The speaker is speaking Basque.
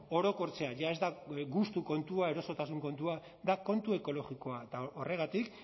orokortzea jada ez da gustu kontua erosotasun kontua da kontu ekologikoa eta horregatik